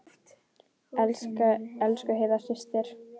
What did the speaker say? Elsku Heiða systir.